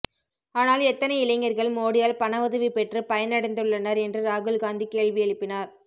ஆனால் எத்தனை இளைஞர்கள் மோடியால் பண உதவி பெற்று பயனடைந்துள்ளனர் என்று ராகுல் காந்தி கேள்வி எழுப்பினார்